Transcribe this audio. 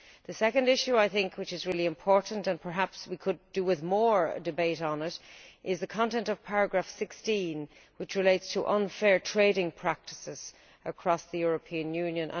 The second really important issue and perhaps we could do with more debate on it is the content of paragraph16, which relates to unfair trading practices across the European Union.